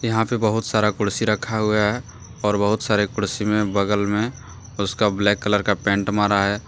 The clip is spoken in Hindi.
यहां पर बहुत सारा कुर्सी रखा हुआ है और बहुत सारे कुर्सी में बगल में उसका ब्लैक कलर का पेंट मारा है।